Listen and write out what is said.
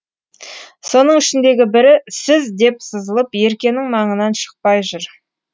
соның ішіндегі бірі сіз деп сызылып еркенің маңынан шықпай жүр